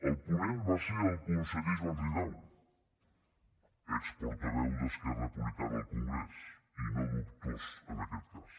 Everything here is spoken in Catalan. el ponent va ser el conseller joan ridao exportaveu d’esquerra republicana al congrés i no dubtós en aquest cas